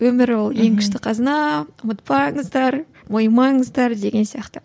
өмір ол ең күшті қазына ұмытпаңыздар мойымаңыздар деген сияқты